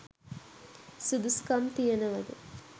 සුදුසුකම් තියනවද?